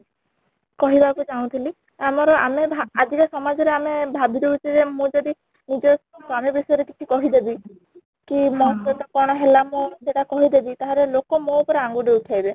କହିବାକୁ ଚାହୁଁ ଥିଲି ଆମର ଆମେ ଭା ଆଜିକା ସମାଜ ରେ ଆମେ ଭାବି ଦଉଛେ ଯେ ମୁଁ ଯଦି ନିଜ ସ୍ୱାମୀ ବିଷୟ ରେ କିଛି କହି ଦେବି କି ମୋ ସହିତ କ'ଣ ହେଲା ମୁଁ ସେଇଟା କହିଦେବି ତାହେଲେ ଲୋକ ମୋ ଉପରେ ଆଙ୍ଗୁଠି ଉଠେଇବେ